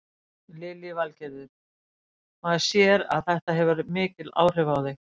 Lillý Valgerður: Maður sér að þetta hefur mikil áhrif á þig?